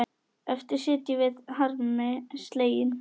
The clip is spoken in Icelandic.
Eftir sitjum við harmi slegin.